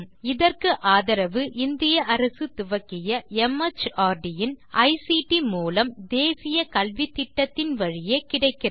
இதற்கு ஆதரவு இந்திய அரசு துவக்கிய மார்ட் இன் ஐசிடி மூலம் தேசிய கல்வித்திட்டத்தின் வழியே கிடைக்கிறது